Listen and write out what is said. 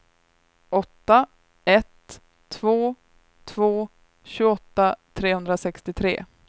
åtta ett två två tjugoåtta trehundrasextiotre